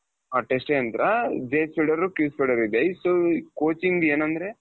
ಅ Test ಯಂತ್ರ so coaching ಏನಂದ್ರೆ,